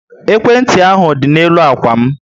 Ekwentị ahu dị na-elu ákwà m